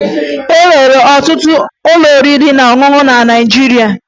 E nwere ọtụtụ ụlọ oriri na ọṅụṅụ na Naịjirịa